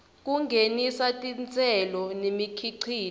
kungenisa titselo nemikhicito